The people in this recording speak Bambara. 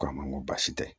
Ko a ma n ko baasi tɛ